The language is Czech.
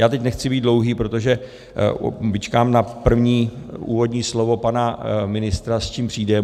Já teď nechci být dlouhý, protože vyčkám na první úvodní slovo pana ministra, s čím přijde.